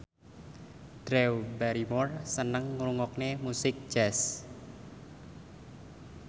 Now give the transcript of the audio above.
Drew Barrymore seneng ngrungokne musik jazz